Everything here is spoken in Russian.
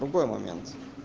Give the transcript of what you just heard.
другой момент